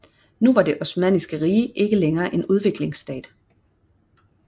Nu var Det Osmanniske rige ikke længere en udviklingsstat